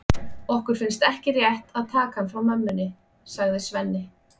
Okkur finnst ekki rétt að taka hann frá mömmunni, sagði Svenni.